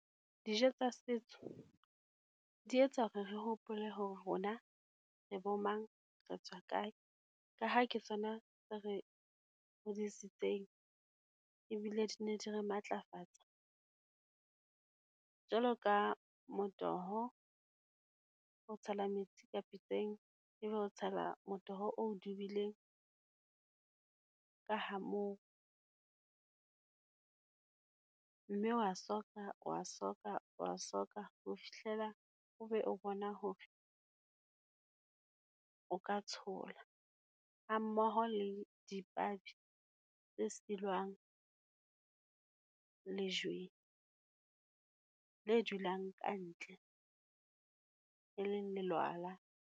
Dijo tsa setso, di etsa hore re hopole hore rona re bo mang, retswa kae? Ka ha ke tsona tse re hodisitseng, ebile di ne di re matlafatsa. Jwalo ka motoho, o tshela metsi ka pitseng, e be o tshela motoho oo dubileng ka ha moo, mme o wa soka, o wa soka, o wa soka ho fihlela o be o bona hore o ka tshola. Ha mmoho le dipabi tse silwang lejweng le dulang ka ntle, e leng lelwala.